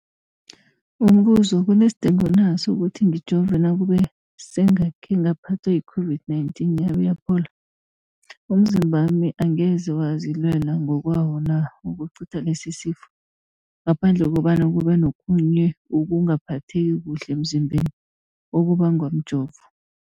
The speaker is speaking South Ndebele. Umbuzo, kunesidingo na sokuthi ngijove nakube sengakhe ngaphathwa yi-COVID-19 yabe yaphola? Umzimbami angeze wazilwela ngokwawo na ukucitha lesisifo, ngaphandle kobana kube nokhunye ukungaphatheki kuhle emzimbeni okubangwa mjovo?